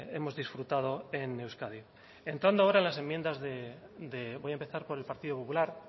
hemos disfrutado en euskadi entrando ahora en las enmiendas de voy a empezar por el partido popular